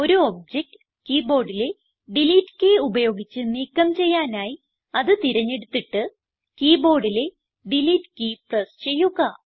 ഒരു object key ബോർഡിലെ delete key ഉപയോഗിച്ച് നീക്കം ചെയ്യാനായി അത് തിരഞ്ഞെടുത്തിട്ട് കീ ബോർഡിലെ ഡിലീറ്റ് കീ പ്രസ് ചെയ്യുക